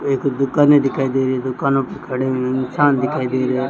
मेरे को दिखने दिखाई दे रही है दुकानों पे खड़े इंसान दिखाई दे रहे--